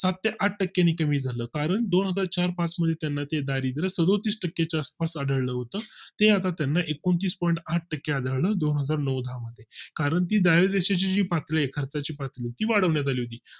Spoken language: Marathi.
सात ते आठ टक्के ने कमी झालं कारण दोनहजार चार पाच मध्ये त्यांना चे दारिद्रय़ सदुतीस टक्के च्या आसपास आढळलं होत ते आता त्यांना एकोणतीस point आठ टक्के आधार दोनहजार चार पाच मध्ये कारण की दारिद्र देशा ची पात खर्चाची पातळी आहे खर्चाची पातळी ती वाढवण्यात आली होती